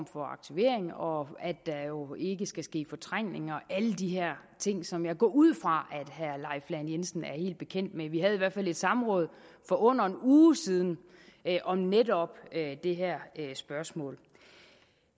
for aktivering og at der jo ikke skal ske fortrængninger og alle de her ting som jeg går ud fra at herre leif lahn jensen er helt bekendt med vi havde i hvert fald et samråd for under en uge siden om netop det her spørgsmål det